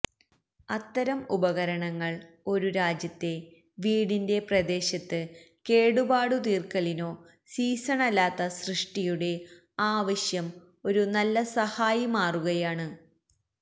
അത്തരം ഉപകരണങ്ങൾ ഒരു രാജ്യത്തെ വീട്ടിന്റെ പ്രദേശത്ത് കേടുപാടുതീർക്കലിനോ സീസണല്ലാത്ത സൃഷ്ടിയുടെ ആവശ്യം ഒരു നല്ല സഹായി മാറുകയാണ്